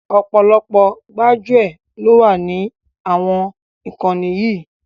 Ọ̀pọ̀lọpọ̀ gbájúẹ̀ lọ wà ní àwọn ìkànnì yìí